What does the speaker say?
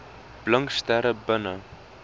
blink sterre binne